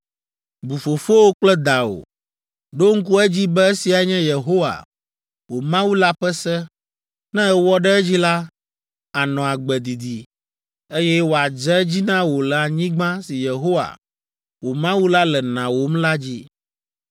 Bu fofowò kple dawò. Ɖo ŋku edzi be esiae nye Yehowa, wò Mawu la ƒe se. Ne èwɔ ɖe edzi la, ànɔ agbe didi, eye wòadze edzi na wò le anyigba si Yehowa, wò Mawu la le nawòm la dzi.